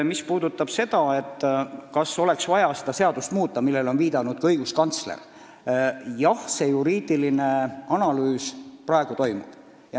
Mis puudutab seda, kas oleks vaja seadust muuta, nagu on viidanud ka õiguskantsler, siis see juriidiline analüüs praegu toimub.